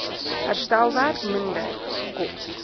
herstelwerk minder kos